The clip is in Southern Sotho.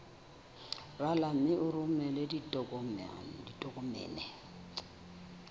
rala mme o romele ditokomene